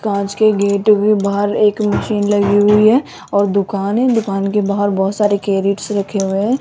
कांच के गेट भी बाहर एक मशीन लगी हुई है और दुकान है दुकान के बाहर बहोत सारे कैरेटस रखे हुए हैं।